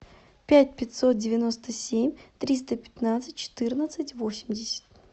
пять пятьсот девяносто семь триста пятнадцать четырнадцать восемьдесят